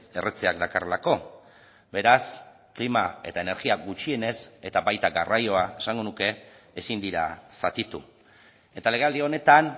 erretzeak dakarrelako beraz klima eta energia gutxienez eta baita garraioa esango nuke ezin dira zatitu eta legealdi honetan